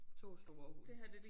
2 store hunde